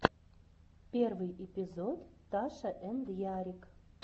первый эпизод таша энд ярик